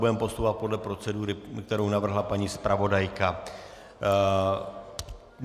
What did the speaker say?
Budeme postupovat podle procedury, kterou navrhla paní zpravodajka.